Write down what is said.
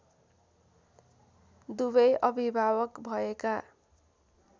दुवै अभिभावक भएका